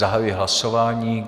Zahajuji hlasování.